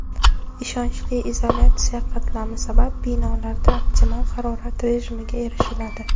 Ishonchli izolyatsiya qatlami sabab binolarda optimal harorat rejimiga erishiladi.